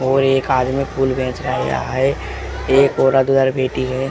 एक आदमी फूल बेच रहा है एक औरत बैठी है।